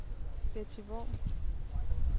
Betty Worm